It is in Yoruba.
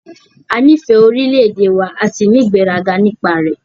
A nífẹ̀ẹ́ orílẹ̀-èdè wa a sì ní ìgbéraga nípa rẹ̀.